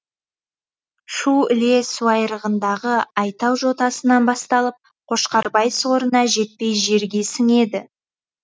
шу іле суайрығындағы айтау жотасынан басталып қошқарбай сорына жетпей жерге сіңеді